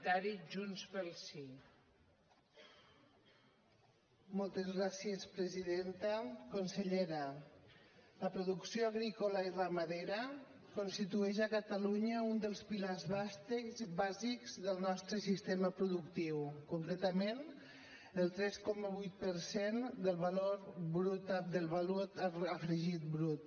consellera la producció agrícola i ramadera constitueix a catalunya un dels pilars bàsics del nostre sistema productiu concretament el tres coma vuit per cent del valor afegit brut